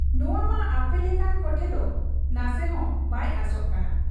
ᱱᱚᱶᱟᱟᱢᱟ ᱟᱯᱮ ᱞᱮᱠᱟᱱ ᱠᱚᱴᱷᱮᱫ ᱱᱟᱥᱮᱦᱚᱸ ᱵᱟᱭ ᱟᱸᱥᱚᱜ ᱠᱟᱱᱟ ᱾